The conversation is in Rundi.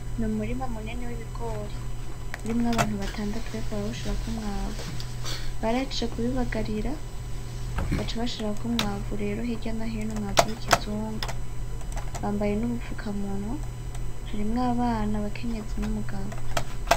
Numurima munini wibigori urimwo abantu batandatu bariko barawushirako umwavu , barahejeje kubibagarira baca bashirako umwavu rero hirya no hino umwavu wikizungu bambaye nubufukamunwa , harimwo abana, abakenyezi numugabo .